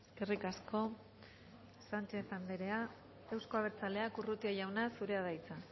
eskerrik asko sánchez andrea euzko abertzaleak urrutia jauna zurea da hitza